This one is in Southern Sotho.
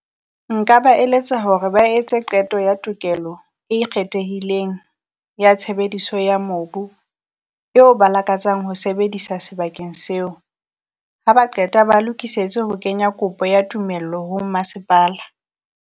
Nka ba eletsa hore ba etse qeto ya tokelo e ikgethehileng ya tshebediso ya mobu eo ba lakatsang ho sebedisa sebakeng seo. Ha ba qeta ba lokisetse ho kenya kopo ya tumello ho masepala.